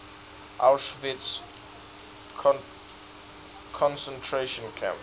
auschwitz concentration camp